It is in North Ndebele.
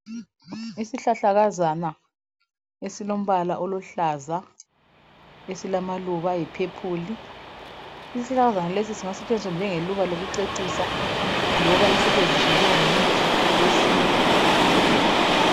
Isihlahlakazana esilombala oluhlaza esilamaluba ayiphephuli isihlahlakazana lesi singasetshenziswa njengeluba lolucecisa loba sisetshenziswe njengomuthi wesintu